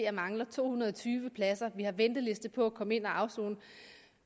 og mangler to hundrede og tyve pladser vi har venteliste på at komme ind at afsone